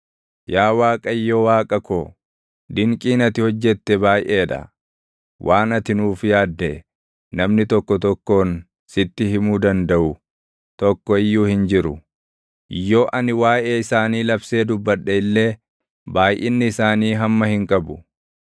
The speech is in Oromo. Yaa Waaqayyo Waaqa ko, dinqiin ati hojjette baayʼee dha; waan ati nuuf yaadde, namni tokko tokkoon sitti himuu dandaʼu tokko iyyuu hin jiru; yoo ani waaʼee isaanii labsee dubbadhe illee, baayʼinni isaanii hamma hin qabu.